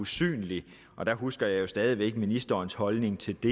synlig der husker jeg jo stadig væk ministerens holdning til det